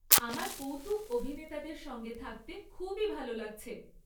আমার কৌতুক অভিনেতাদের সঙ্গে থাকতে খুবই ভাল লাগছে।